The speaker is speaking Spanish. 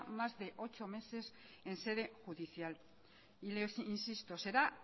más de ocho meses en sede judicial y les insisto será